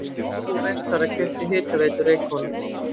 Orkubú Vestfjarða keypti Hitaveitu Reykhóla.